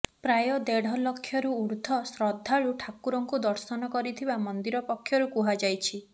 ପ୍ରାୟ ଦେଢ଼ ଲକ୍ଷରୁ ଉଦ୍ଧ୍ୱର୍ର୍ ଶ୍ରଦ୍ଧାଳୁ ଠାକୁରଙ୍କୁ ଦର୍ଶନ କରିଥିବା ମନ୍ଦିର ପକ୍ଷରୁ କୁହାଯାଇଛି